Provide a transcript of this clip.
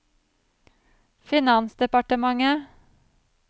finansdepartementet